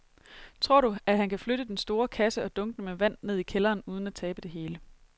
Tror du, at han kan flytte den store kasse og dunkene med vand ned i kælderen uden at tabe det hele?